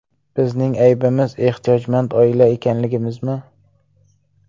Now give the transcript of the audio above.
Bizning aybimiz ehtiyojmand oila ekanligimizmi?